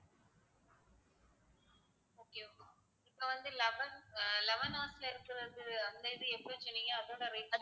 இப்ப வந்து eleven ஆஹ் eleven hours ல இருக்கிறது அந்த இது எப்படி சொன்னீங்க அதோட rate